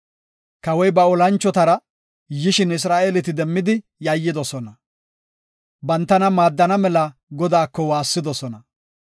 Kawoy ba olanchotara yishin Isra7eeleti demmidi yayyidosona; bantana maaddana mela Godaako waassidosona.